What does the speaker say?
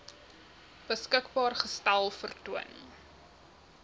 beskikbaar gestel vertoon